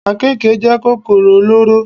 Àkekè jẹ́ kòkòrò olóró.